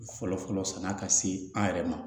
Fɔlɔfɔlɔ sann'a ka se an yɛrɛ ma